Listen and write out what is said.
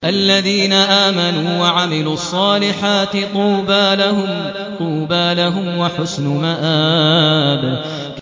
الَّذِينَ آمَنُوا وَعَمِلُوا الصَّالِحَاتِ طُوبَىٰ لَهُمْ وَحُسْنُ مَآبٍ